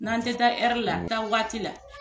N'an tɛ taa la taa waati la,